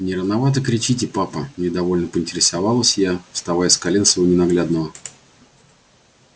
не рановато кричите папа недовольно поинтересовалась я вставая с колен своего ненаглядного